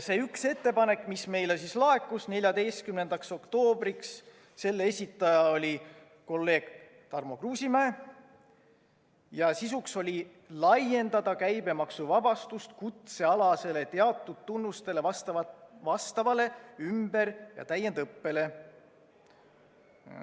Selle ühe ettepaneku, mis meile laekus 14. oktoobriks, oli esitanud kolleeg Tarmo Kruusimäe ja selle sisuks oli laiendada käibemaksuvabastust kutsealasele teatud tunnustele vastavale ümber‑ ja täiendõppele.